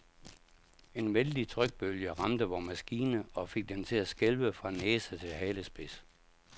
En vældig trykbølge ramte vor maskine og fik den til at skælve fra næse til halespids.